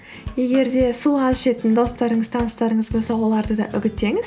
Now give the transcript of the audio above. егер де су аз ішетін достарыңыз таныстарыңыз болса оларды да үгіттеңіз